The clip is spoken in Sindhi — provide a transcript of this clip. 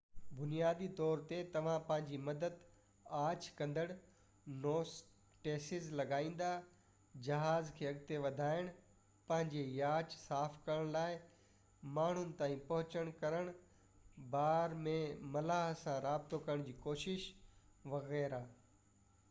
بنيادي طور تي توهان پنهنجي مدد آڇ ڪندڙ نوٽيسز لڳائيندا جهاز کي اڳتي وڌائڻ پنهنجي ياچ صاف ڪرڻ لاءِ مانهن تائين پهچ ڪرڻ بار ۾ ملاح سان رابطو ڪرڻ جي ڪوشش وغيره